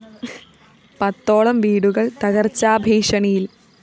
പത്തോളം വീടുകള്‍ തകര്‍ച്ചാ ഭീഷണിയില്‍